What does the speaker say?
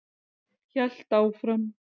Hélt áfram.